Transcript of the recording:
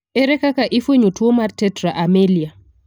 Ere kaka ifuenyo tuo mar tetra amelia?